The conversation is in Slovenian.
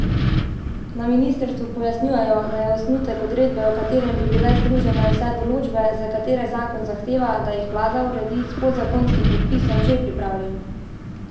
Na ministrstvu pojasnjujejo, da je osnutek uredbe, v katerem bi bile združene vse določbe, za katere zakon zahteva, da jih vlada uredi s podzakonskim predpisom, že pripravljen.